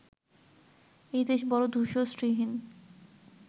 এই দেশ বড় ধূসর শ্রীহীন